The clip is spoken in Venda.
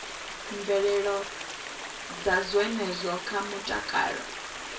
mvelelo dza zwenezwo kha mutakalo